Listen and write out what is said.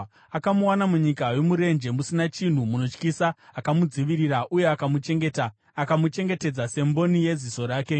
Akamuwana munyika yomurenje, musina chinhu, munotyisa. Akamudzivirira uye akamuchengeta; akamuchengetedza semboni yeziso rake,